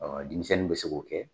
Denmisɛnnin bɛ se k'o kɛ.